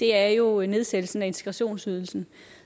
er jo nedsættelsen af integrationsydelsen